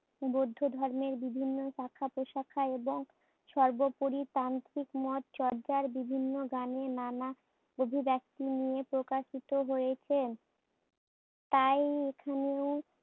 বৌদ্ধ ধর্মের বিভিন্ন শাখাপ্রশাখা এবং সর্বোপরি তান্ত্রিক মত চর্চার বিভিন্ন গানে নানা অভিব্যক্তি নিয়ে প্রকাশিত হয়েছে। তাই এখানেও